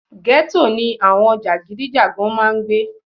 Gẹ́tò ni àwọn jàgídíjàgan máa ń gbé